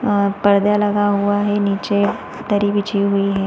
अ पर्दा लगा हुआ हैं नीचे दरी बिछी हुई है।